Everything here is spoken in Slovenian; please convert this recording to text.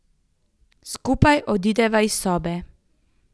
Skupaj odideva iz sobe.